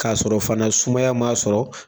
K'a sɔrɔ fana sumaya' sɔrɔ.